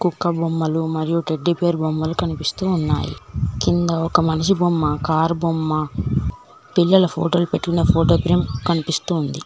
కుక్క బొమ్మలు మరియు టెడ్డీబేర్ బొమ్మలు కనిపిస్తూ ఉన్నాయి కింద ఒక మనిషి బొమ్మ కార్ బొమ్మ పిల్లల ఫోటోలు పెట్టిన ఫోటోగ్రామ్ కనిపిస్తూ ఉంది.